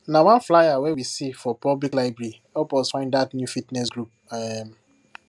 na one flyer wey we see for public library help us find that new fitness group um